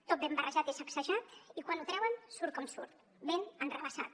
tot ben barrejat i sacsejat i quan ho treuen surt com surt ben enrevessat